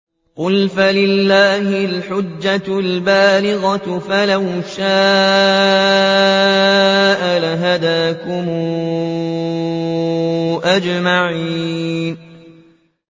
قُلْ فَلِلَّهِ الْحُجَّةُ الْبَالِغَةُ ۖ فَلَوْ شَاءَ لَهَدَاكُمْ أَجْمَعِينَ